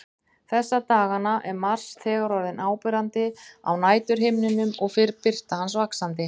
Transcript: Þessa dagana er Mars þegar orðinn áberandi á næturhimninum og fer birta hans vaxandi.